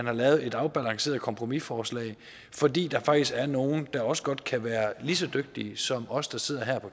er lavet et afbalanceret kompromisforslag fordi der faktisk er nogle der også godt kan være lige så dygtige som os der sidder her på